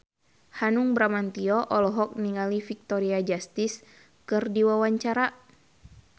Hanung Bramantyo olohok ningali Victoria Justice keur diwawancara